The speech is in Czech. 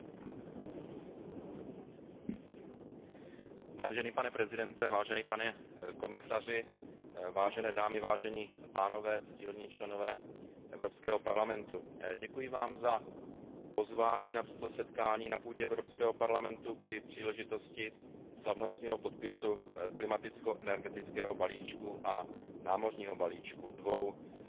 Vážený pane předsedo, vážený pane komisaři, vážené dámy, vážení pánové, ctihodní poslanci Evropského parlamentu, děkuji vám za pozvání na toto setkání na půdě Evropského parlamentu při příležitosti slavnostního podpisu klimaticko energetického balíčku a námořního balíčku, dvou klíčových opatření, na kterých se za pomoci Evropské komise